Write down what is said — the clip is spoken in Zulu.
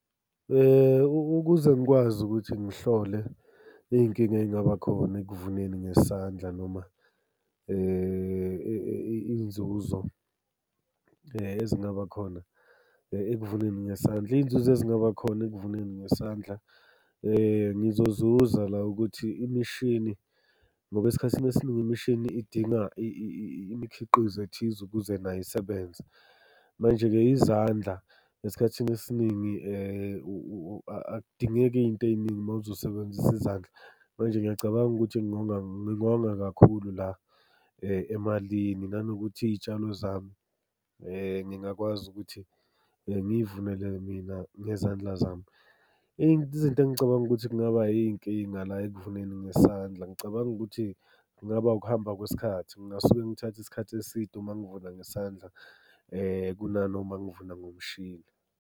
Ukuze ngikwazi ukuthi ngihlole iy'nkinga ey'ngaba khona ekuvuneni ngesandla, noma iy'nzuzo ezingaba khona ekuvuneni ngesandla. Iy'nzuzo ezingaba khona ekuvuneni ngesandla ngizozuza la ukuthi imishini ngoba esikhathini esiningi imishini idinga imikhiqizo ethize ukuze nayo isebenza. Manje-ke izandla esikhathini esiningi akudingeki iy'nto ey'ningi uma uzosebenzisa izandla. Manje ngiyacabanga ukuthi ngingonga kakhulu la emalini, nanokuthi iy'tshalo zami ngingakwazi ukuthi ngiy'vunele mina ngezandla zami. Izinto engicabanga ukuthi kungaba yinkinga la ekuvuneni ngesandla, ngicabanga ukuthi kungaba ukuhamba kwesikhathi. Ngingasuke ngithathe isikhathi eside uma ngivuna ngesandla kunanoma ngiyivuna ngomshini.